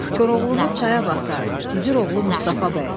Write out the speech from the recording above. Koroğlunu çaya basar, gizir oğlu Mustafa bəy.